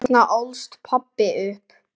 Þarna ólst pabbi upp.